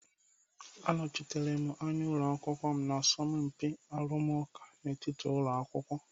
Anọchitere m anya ụlọ akwụkwọ m na asọmpi arụmụka n'etiti ụlọ akwụkwọ.